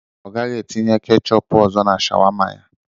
Ọ gaghị etinye ketchup ọzọ na sharwama ya.